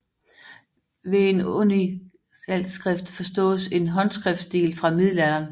Ved en uncialskrift forstås en håndskriftstil fra middelalderen